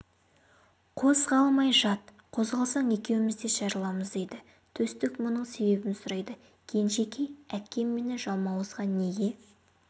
қозғалмай жат қозғалсаң екеуміз де жарыламыз дейді төстік мұның себебін сұрайды кенжекей әкем мені жалмауызға неге